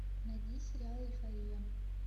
найди сериал эйфория